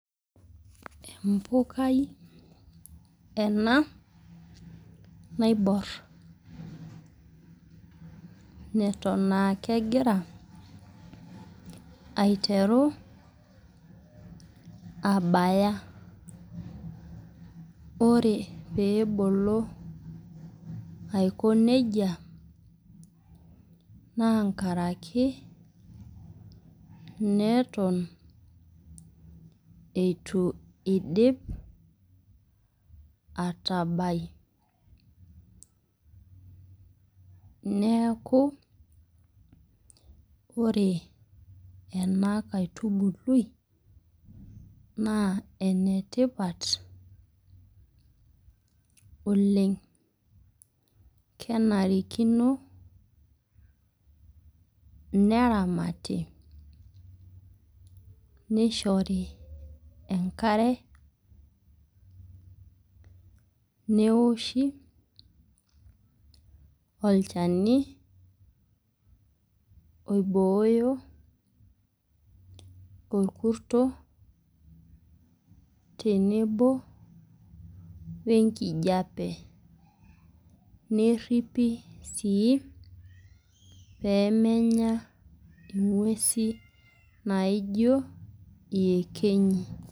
Empukai ena naibor neton aa kegira aiteru abaya ,ore pebolo nejia naa nkaraki neton eitu eidip atabai , neku ore enaitubului naa enetipat oleng . Kenarikino neramati , nishori enkare , neoshi olchani oiboyo orkurto tenebo wenkijape , neripi sii pemenya ingwesi naijo iyekenyi.